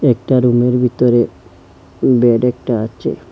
একটা রুমের ভিতরে বেড একটা আচে।